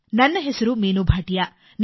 ನನ್ನ ಹೆಸರು ಮೀನು ಭಾಟಿಯಾ